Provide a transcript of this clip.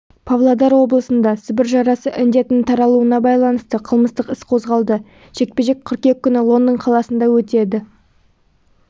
павлодар облысында сібір жарасы індетінің таралуына байланысты қылмыстық іс қозғалды жекпе-жек қыркүйек күні лондон қаласында өтеді